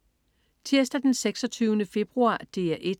Tirsdag den 26. februar - DR 1: